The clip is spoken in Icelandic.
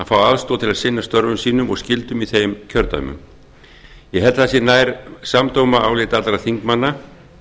fá aðstoð til að sinna störfum sínum og skyldum í þessum kjördæmum ég held það sé nær samdóma álit allra þingmanna